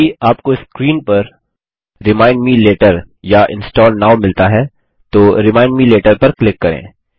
यदि आपको स्क्रीन पर रिमाइंड मे लेटर या इंस्टॉल नोव मिलता है तो रिमाइंड मे लेटर पर क्लिक करें